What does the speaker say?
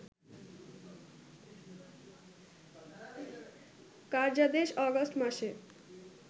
কার্যাদেশ August মাসে